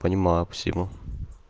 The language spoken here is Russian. понимаю спасибо